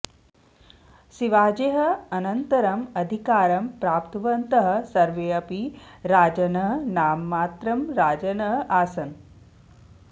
शिवाजेः अनन्तरम् अधिकारं प्रप्तवन्तः सर्वेपि राजानः नाममात्रं राजानः आसन्